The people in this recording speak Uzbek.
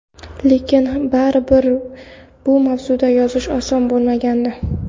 Lekin baribir bu mavzuda yozish oson bo‘lmagandi.